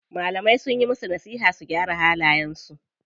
Malamai sunyi musu nasiha su gyara halayen su.